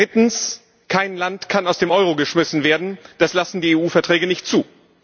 Drittens Kein Land kann aus dem Euro geschmissen werden, das lassen die EU Verträge nicht zu.